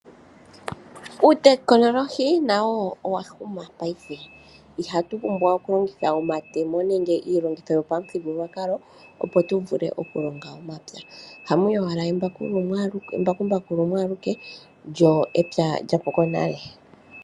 Uutekinolohi nawo owa huma paife, ihatu pumbwa oku longitha omatemo nenge iilongitho yo pamuthigulwakalo opo tu vule oku longa momapya. Ohamu yi owala embakumbaku lumwe aluke, lyo epya lyapuko nale.